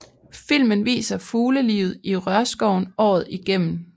Filmen viser fuglelivet i rørskoven året igennem